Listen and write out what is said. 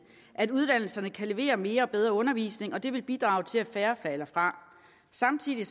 at uddannelserne kan levere mere og bedre undervisning og det vil bidrage til at færre falder fra samtidig